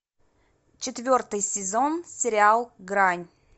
четвертый сезон сериал грань